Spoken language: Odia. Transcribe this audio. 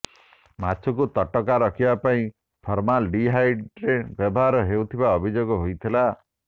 ମାଛକୁ ତଟକା ରଖିବା ପାଇଁ ଫର୍ମାଲ ଡିହାଇଡ୍ ବ୍ୟବହାର ହେଉଥିବା ଅଭିଯୋଗ ହୋଇଥିଲା